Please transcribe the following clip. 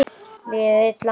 Liðið illa?